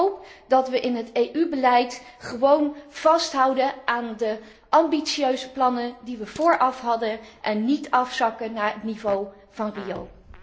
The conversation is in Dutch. Ik hoop dat wij in het EU beleid gewoon vasthouden aan de ambitieuze plannen die wij vooraf hadden, en niet afzakken naar het niveau van Rio.